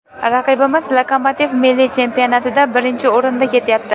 Raqibimiz ‘Lokomotiv’ milliy chempionatida birinchi o‘rinda ketyapti.